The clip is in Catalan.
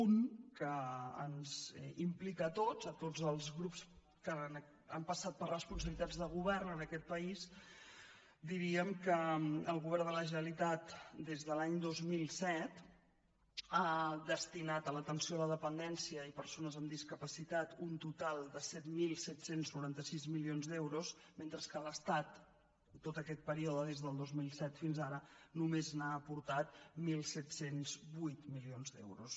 una que ens implica a tots a tots els grups que han passat per responsabilitats de govern en aquest país diríem que el govern de la generalitat des de l’any dos mil set ha destinat a l’atenció a la dependència i persones amb discapacitat un total de set mil set cents i noranta sis milions d’euros mentre que l’estat en tot aquest període des del dos mil set fins ara només n’ha aportat disset zero vuit de milions d’euros